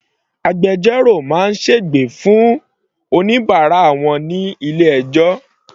Agbẹjọ́rò máa sègbè fún oníbàárà wọn ní ilé ẹjọ́.